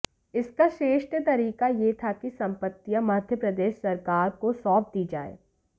इसका श्रेष्ठ तरीका यह था कि संपत्तियां मध्य प्रदेश सरकार को सौंप दी जाएं